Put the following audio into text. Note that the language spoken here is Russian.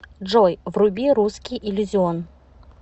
джой вруби русский иллюзион